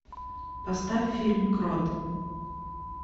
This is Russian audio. поставь фильм крот